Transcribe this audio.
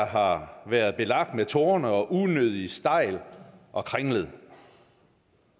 har været belagt med torne og været unødig stejl og kringlet